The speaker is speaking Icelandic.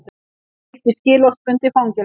Breytt í skilorðsbundið fangelsi